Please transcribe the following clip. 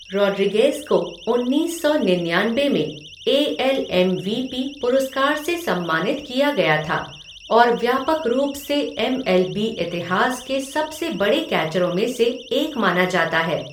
Rodriguez को उन्नीस सौ निन्यानबे में A L M V P पुरस्कार से सम्मानित किया गया था और व्यापक रूप से एम एल बी इतिहास के सबसे बड़े कैचरों में से एक माना जाता है।